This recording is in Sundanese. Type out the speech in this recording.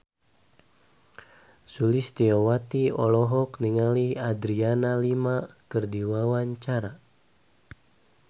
Sulistyowati olohok ningali Adriana Lima keur diwawancara